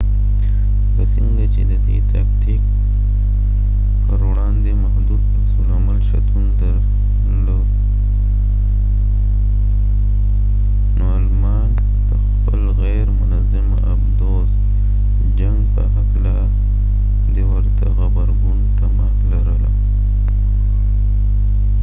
لکه څنګه چې د دې تاکتیک پروړاندې محدود عکس العمل شتون درلود نو المان د خپل غیر منظمه آبدوز جنګ په هکله د ورته غبرګون تمه لرله